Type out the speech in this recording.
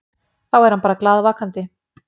Þá er hann bara glaðvakandi.